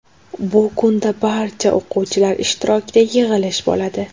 Bu kunda barcha o‘quvchilar ishtirokida yig‘ilish bo‘ladi.